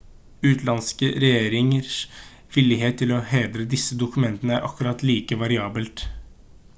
utenlandske regjeringers villighet til å hedre disse dokumentene er akkurat like variabelt